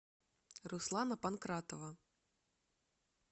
руслана панкратова